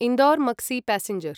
Indore Maksi passenger